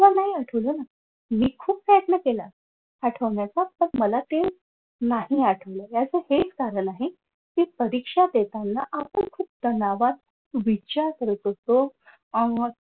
नाही आठवलं ना मी खूप प्रयत्न केला आठवण्याचा पण मला ते नाही आठवलं याच हेच कारण आहे कि परीक्षा देताना आपण खूप तणावात विचार करत असतो अह मग